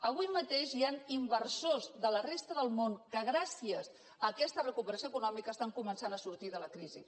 avui mateix hi han inversors de la resta del món que gràcies a aquesta recuperació econòmica estan començant a sortir de la crisi